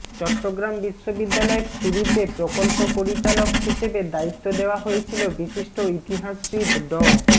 চট্টগ্রাম বিশ্ববিদ্যালয়ের শুরুতে প্রকল্প পরিচালক হিসেবে দায়িত্ব দেওয়া হয়েছিল বিশিষ্ট ইতিহাসবিদ ড